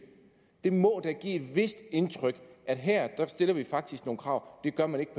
det må da et vist indtryk at her stiller vi faktisk nogle krav og det gør man ikke